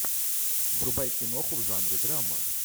врубай киноху в жанре драма